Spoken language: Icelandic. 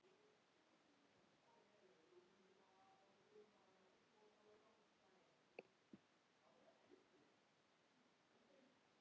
Mamma elskaði börn og dýr.